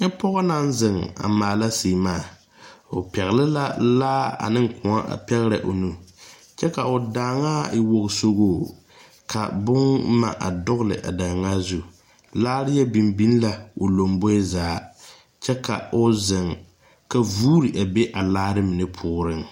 Nyɛ pɔɔ naŋ zeŋ a maala sèèmaa o pɛgle la laa aneŋ kõɔ a pɛgrɛ o nu kyɛ ka o daaŋaa e wogesogoo ka bomma a dugle a daanŋaa zu laare yɛ biŋ biŋ la o lomboe zaa kyɛ ka o zeŋ ka vuure a be a laare mine poɔrreŋ.